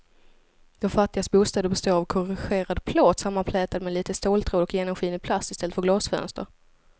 De fattigas bostäder består av korrugerad plåt sammanflätad med lite ståltråd och genomskinlig plast i stället för glasfönster.